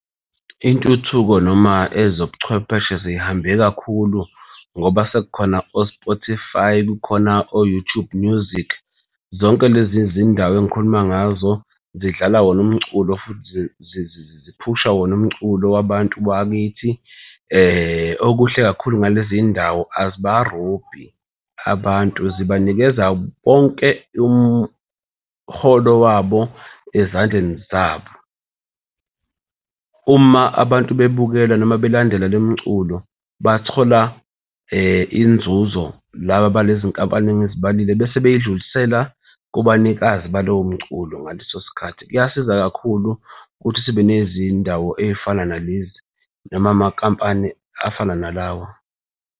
Intuthuko noma ezobuchwepheshe sey'hambe kakhulu ngoba sekukhona o-Spotify, kukhona o-YouTube Music. Zonke lezi zindawo engikhuluma ngazo zidlala wona umculo futhi ziphusha wona umculo wabantu bakithi. Okuhle kakhulu ngalezi ndawo, azibarobhi abantu, zibanikeza wonke umholo wabo ezandleni zabo. Uma abantu bebukela noma belandela le miculo bathola inzuzo laba balezi nkampani esengizibalile bese beyidlulisela kubanikazi balowo mculo ngaleso sikhathi. Kuyasiza kakhulu ukuthi sibe nezindawo ezifana nalezi noma amakampani afana nalawa.